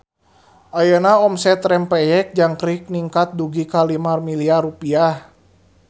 Ayeuna omset Rempeyek Jangkrik ningkat dugi ka 5 miliar rupiah